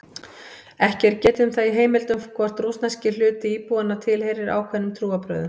Ekki er getið um það í heimildum hvort rússneski hluti íbúanna tilheyrir einhverjum ákveðnum trúarbrögðum.